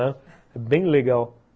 É bem legal.